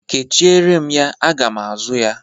Kechiere m ya. Aga m azụ ya.